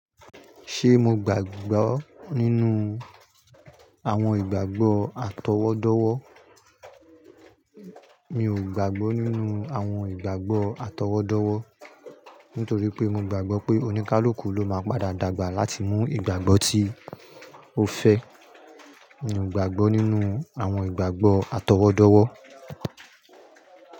Ṣé mo gbàgbọ́ nínú àwọn ìgbàgbọ́ àtọwọ́dọ́wọ́? Mi ò gbàgbọ́ nínú àwọn ìgbàgbọ́ àtọwọ́dọ́wọ́ nítorí pé mo gbàgbọ́ pé oníkálukú ló máa padà dàgbà láti mú ìgbàgbọ́ tí ó fẹ́. Mi ò gbàgbọ́ nínú àwọn ìgbàgbọ́ àtọwọ́dọ́wọ́